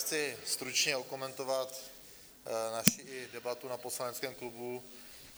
Chci stručně okomentovat naši debatu na poslaneckém klubu.